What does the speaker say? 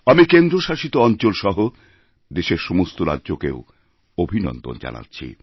আমি কেন্দ্রশাসিত অঞ্চলসহ দেশেরসমস্ত রাজ্যকেও অভিনন্দন জানাচ্ছি